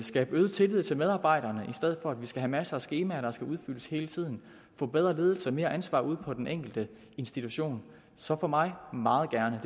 skabe øget tillid til medarbejderne i stedet for at vi skal have masser af skemaer der skal udfyldes hele tiden og få bedre ledelse og mere ansvar ude på den enkelte institution så for mig meget gerne